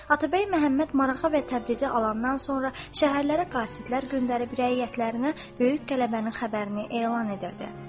Atabəy Məhəmməd Marağa və Təbrizi alandan sonra şəhərlərə qasidlər göndərib rəiyyətlərinə böyük qələbənin xəbərini elan edirdi.